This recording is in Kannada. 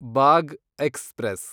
ಬಾಗ್ ಎಕ್ಸ್‌ಪ್ರೆಸ್